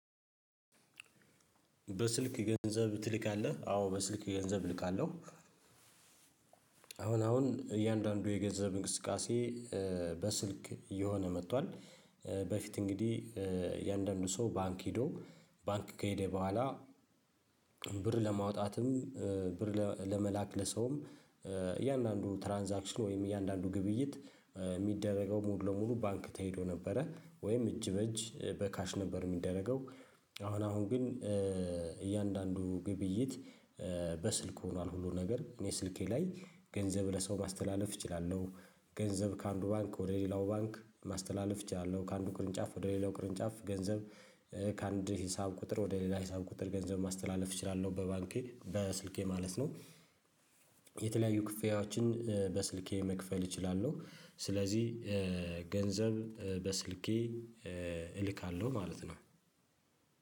በስልክ ገንዘብ ትልካለህ አዎ በስልክ ገንዘብ እልካለሁ። አሁን እያንዳንዱ የገንዘብ እንቅስቃሴ በስልክ እየሆነ መጥቷል። በፊት እንግዲህ እያአንዳንዱ ሰው ባንክ ሄዶ ባንክ ከሄደ በኋላ ብር ለማውጣትም ብር ለመላክ ለሰውም እያንዳንዱ ትራንዛክሽን ወይም እያንዳንዱ ግብይት የሚደረገው ሙሉ ለሙሉ ባንክ ተሄዶ ነበረ ወይም እጅ በእጅ በካሽ ነበር የሚደረገው። አሁን አሁን ግን እያንዳንዱ ግብይት በስልክ ሆኗል ሁሉ ነገር እኔ ስልኬ ላይ ገንዘብ ለሰው ማስተላለፍ እችላለሁ። ገንዘብ ከአንዱ ባንክ ወደ ሌላው ባንክ ማስተላለፍ እችላለሁ ከአንዱ ቅርንጫፍ ወደ ሌላው ቅርንጫፍ ገንዘብ ከአንድ ሂሳብ ቁጥር ወደ ሌላ ሂሳብ ቁጥር ገንዘብ ማስተላለፍ እችላለሁ በባንኬ በስልኬ ማለት ነው። የተለያዩ ክፍያዎችን በስልኬ መክፈል እችላለሁ ስለዚህ ገንዘብ በስልኬ እልካለሁ ማለት ነው።